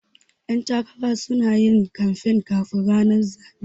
Ƴan takara sunayin kanfan kafin ranar zaɓe